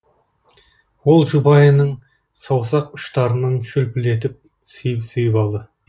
ол жұбайының саусақ ұштарынан шөпілдетіп сүйіп сүйіп алды